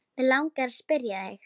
Mig langar að spyrja þig.